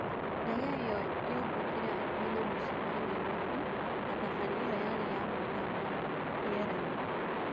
Ndege ĩyo yombũkire hakuhĩ na mũcie wa Nyairobi na thabari ĩyo yarĩ ya mathaa mana rĩerainĩ